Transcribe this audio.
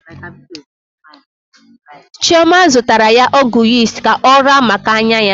Chioma zụtara ya ọgwụ yist ka ọ raa maka anya ya.